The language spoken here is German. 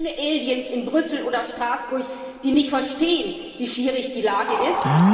Wir sind keine Aliens in Brüssel oder Straßburg, die nicht verstehen, wie schwierig die Lage ist.